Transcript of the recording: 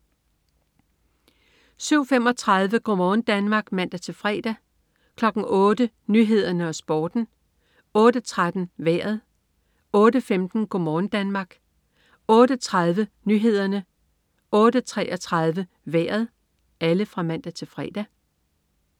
07.35 Go' morgen Danmark (man-fre) 08.00 Nyhederne og Sporten (man-fre) 08.13 Vejret (man-fre) 08.15 Go' morgen Danmark (man-fre) 08.30 Nyhederne (man-fre) 08.33 Vejret (man-fre)